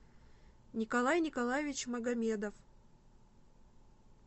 николай николаевич магомедов